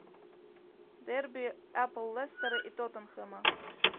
дерби апл лестера и тоттенхэма